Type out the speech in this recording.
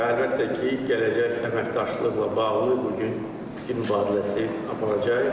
Və əlbəttə ki, gələcək əməkdaşlıqla bağlı bu gün fikir mübadiləsi aparacağıq.